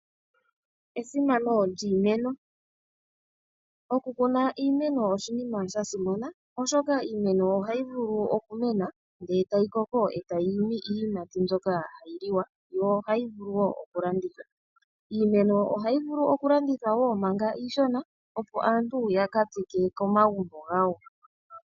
Esimano lyiimeno, okukuna iimeno oshinima shasimana oshoka iimeno ohayi vulu okumena ndele tayi koko etayi imi iiyimati mbyoka hayi liwa, yo ohayi vulu wo okulandithwa. Iimeno ohayi vulu okulandithwa wo manga iishona opo aantu ya ka tsike komagumbo gawo.